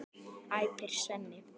æpir Svenni.